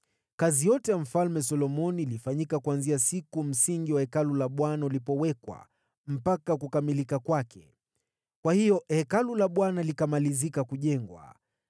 Kazi yote ya Mfalme Solomoni ilifanyika kuanzia siku msingi wa Hekalu la Bwana ulipowekwa mpaka kukamilika kwake. Kwa hiyo Hekalu la Bwana likamalizika kujengwa.